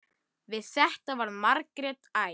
Við þetta varð Margrét æf.